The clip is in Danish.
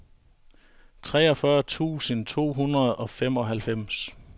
treogfyrre tusind to hundrede og femoghalvfems